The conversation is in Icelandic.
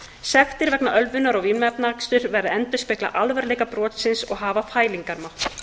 sektir vegna ölvunar og vímuefnaaksturs verða að endurspegla alvarleika brotsins og hafa fælingarmátt